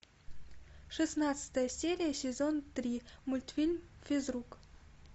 шестнадцатая серия сезон три мультфильм физрук